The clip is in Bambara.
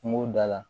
Kungo da la